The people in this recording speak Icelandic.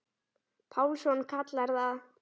Pálsson kallar það.